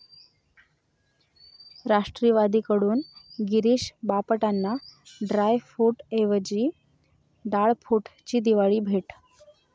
राष्ट्रवादीकडून गिरीष बापटांना ड्रायफूटऐवजी 'डाळफूट'ची दिवाळी भेट